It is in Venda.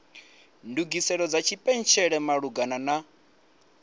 ndugiselo dza tshipentshela malugana na